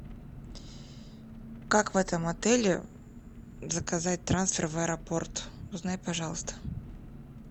как в этом отеле заказать трансфер в аэропорт узнай пожалуйста